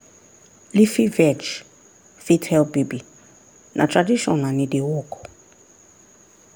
leafy veg fit help baby na tradition and e dey work.